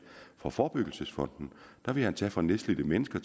fra forebyggelsesfonden der ville han tage fra nedslidte mennesker